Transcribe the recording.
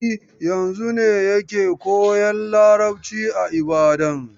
E, yanzun ne yake koyan Yarbanci a Ibadan.